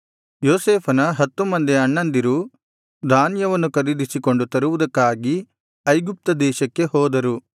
ಯೋಸೇಫನ ಹತ್ತು ಮಂದಿ ಅಣ್ಣಂದಿರು ಧಾನ್ಯವನ್ನು ಖರೀದಿಸಿಕೊಂಡು ತರುವುದಕ್ಕಾಗಿ ಐಗುಪ್ತ ದೇಶಕ್ಕೆ ಹೋದರು